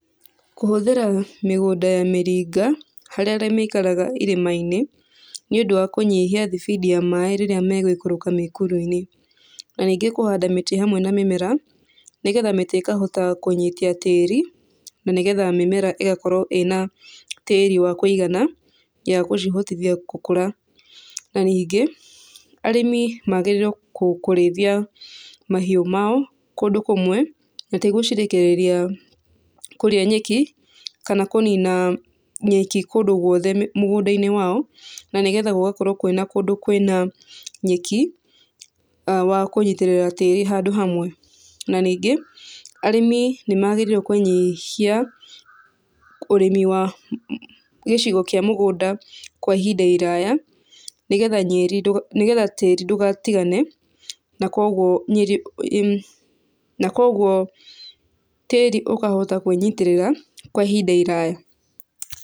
Kũhũthĩra mĩgũnda ya mĩringa, harĩ arĩa maikaraga irĩma-inĩ, nĩũndũ wa kũnyihia thibindi ya maĩ rĩrĩa megũikũrũka mĩkuru-inĩ, na ningĩ kũhanda mĩtĩ hamwe na mĩmera, nĩgetha mĩtĩ ĩkahota kũnyitia tĩri, na nĩ getha mĩmera ĩgakorwo ĩna tĩri wa kũigana, ya gũcihotithia gũkũra, na ningĩ, arĩmi magĩrĩirwo kũrĩithia mahiũ mao, kũndũ kũmwe na ti gũcirekereria kũrĩa nyeki, kana kũnina nyeki kũndũ guothe mũgũnda-inĩ wao, na nĩ getha gũgakorwo kwĩna kũndũ kwĩna nyeki, wa kũnyitĩrĩra tĩri handũ hamwe, na ningĩ, arĩmi nĩ magĩrĩire kũnyihia ũrĩmi wa gĩcigo kĩa mũgũnda kwa ihinda iraya, nĩgetha tĩri ndũgatigane na kũguo tĩri ũkahota kwĩnyitĩrĩra kwa ihinda iraya.